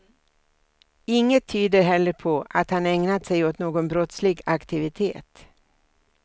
Inget tyder heller på att han ägnat sig åt någon brottslig aktivitet.